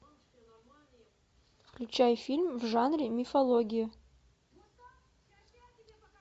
включай фильм в жанре мифологии